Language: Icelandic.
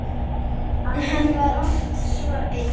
Hann var oft svo einn.